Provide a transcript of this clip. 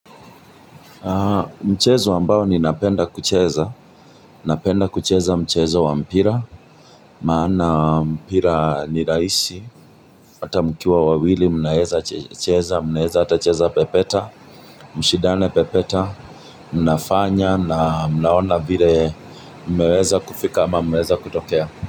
Mchezo ambao ninapenda kucheza, napenda kucheza mchezo wa mpira, maana mpira nirahisi. Hata mkiwa wawili mnaeza cheza, mnaeza ata cheza pepeta, mshindane pepeta, mnafanya na mnaona vile Mmeweza kufika ama mmeweza kutokea.